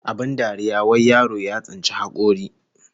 Abin dariya wai yaro ya tsinci hakori